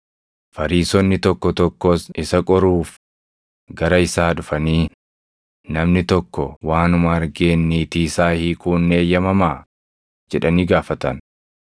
Fariisonni tokko tokkos isa qoruuf gara isaa dhufanii, “Namni tokko waanuma argeen niitii isaa hiikuun ni eeyyamamaa?” jedhanii gaafatan.